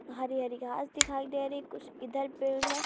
हरी-हरी घास दिखाई दे रही है कुछ इधर पेड़ है।